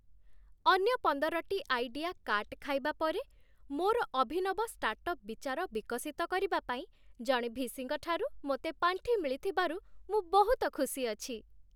ଅନ୍ୟ ପନ୍ଦରଟି idea cut ଖାଇବା ପରେ, ମୋର ଅଭିନବ ଷ୍ଟାର୍ଟଅପ୍ ବିଚାର ବିକଶିତ କରିବା ପାଇଁ ଜଣେ ଭିସିଙ୍କ ଠାରୁ ମୋତେ ପାଣ୍ଠି ମିଳିଥିବାରୁ ମୁଁ ବହୁତ ଖୁସି ଅଛି।